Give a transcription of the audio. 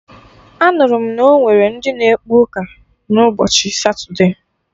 Anụrụ m na onwere ndị na ekpe ụka na ụbọchị satude